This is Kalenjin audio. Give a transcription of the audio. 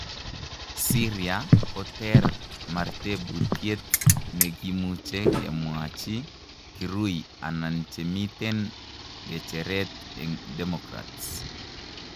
Syria ko ter, mar teputiet nekimuche ngemwachi kirui anan chemiten gejeret en democrats.